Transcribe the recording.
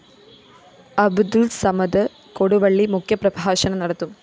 അബ്ദുള്‍സമദ് കൊടുവള്ളി മുഖ്യപ്രഭാഷണം നടത്തും